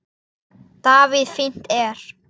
Davíð Fínt er.